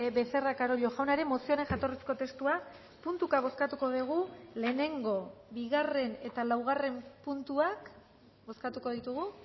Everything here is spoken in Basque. becerra carollo jaunaren mozioaren jatorrizko testua puntuka bozkatuko dugu lehenengo bigarren eta laugarren puntuak bozkatuko ditugu